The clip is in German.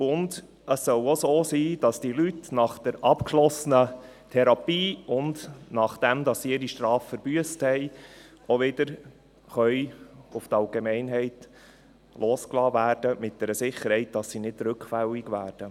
Und es soll auch so sein, dass diese Leute nach der abgeschlossenen Therapie und nachdem sie ihre Strafe verbüsst haben, wieder mit einer Sicherheit auf die Allgemeinheit losgelassen werden können, sodass sie nicht rückfällig werden.